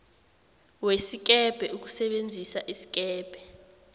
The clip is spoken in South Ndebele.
wesikebhe ukusebenzisa isikebhe